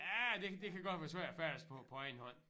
Ja det det kan godt være svært at færdes på på egen hånd